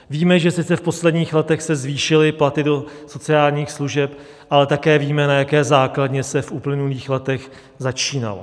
Víme, že sice v posledních letech se zvýšily platy do sociálních služeb, ale také víme, na jaké základně se v uplynulých letech začínalo.